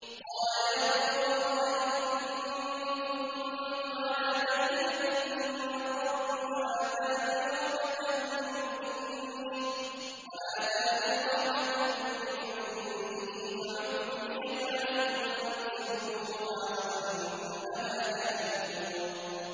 قَالَ يَا قَوْمِ أَرَأَيْتُمْ إِن كُنتُ عَلَىٰ بَيِّنَةٍ مِّن رَّبِّي وَآتَانِي رَحْمَةً مِّنْ عِندِهِ فَعُمِّيَتْ عَلَيْكُمْ أَنُلْزِمُكُمُوهَا وَأَنتُمْ لَهَا كَارِهُونَ